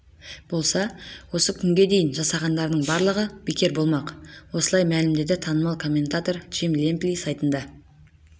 болса осы күнге дейін жасағандарының барлығы бекер болмақ осылай мәлімдеді танымал комментатор джим лэмпли сайтына